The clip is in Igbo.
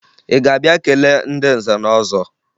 Ị ga-abịa kelee ndị nze na ọzọ?